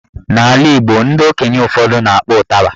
N'ala Igbo ndị okenye ụfọdụ na-akpọ ụtaba